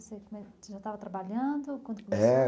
trabalhando? é...